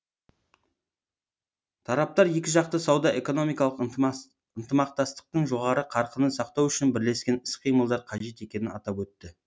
тараптар екіжақты сауда экономикалық ынтымақтастықтың жоғары қарқынын сақтау үшін бірлескен іс қимылдар қажет екенін атап өтті